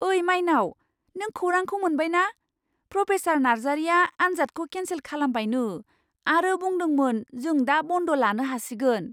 ओइ माइनाव, नों खौरांखौ मोनबाय ना? प्रफेसार नार्जारिया आन्जादखौ केनसेल खालामबायनो आरो बुंदोंमोन जों दा बन्द लानो हासिगोन!